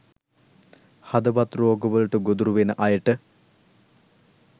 හදවත් රෝග වලට ගොදුරු වෙන අයට